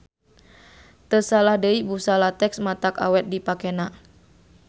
Teu salah deui busa latex matak awet dipakena.